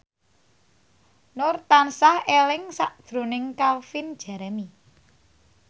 Nur tansah eling sakjroning Calvin Jeremy